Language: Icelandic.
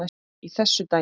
í þessu dæmi.